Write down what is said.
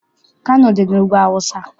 Kano dị n'Ugwu Awụsa.